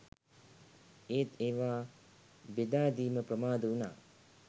ඒත් ඒවා බෙදා දීම ප්‍රමාද වුණා